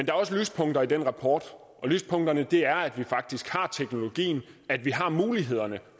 er også lyspunkter i den rapport og lyspunkterne er at vi faktisk har teknologien at vi har mulighederne